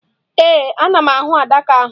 Ee, ana m ahụ adaka ahụ.